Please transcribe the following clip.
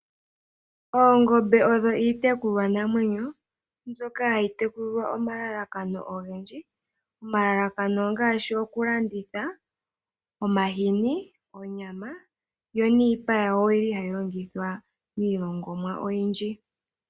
Oongombe odho iitekulwanamwenyo mbyoka hayi tekulilwa omalalakano ogendji. Omalalakano ongaashi okulanditha, omahini, onyama yo niipa yayo oyi li hayi longithwa miilongomwa oyindji.